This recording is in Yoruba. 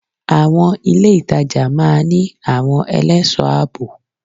Àwon ilé ìtajà máa ní àwon elésòó àbò